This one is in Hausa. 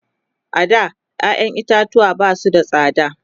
a da ƴaƴan itatuwa Basu da tsada